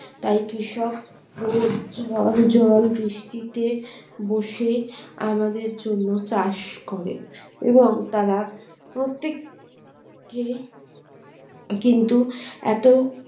তাই কৃষক রোদ জল ঝড় বৃষ্টিতে বসে আমাদের জন্য চাষ করে এবং তারা প্রত্যেক কে কিন্তু এত